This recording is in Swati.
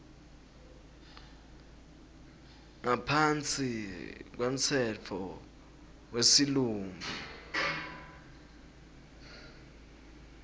ngaphansi kwemtsetfo wesilumbi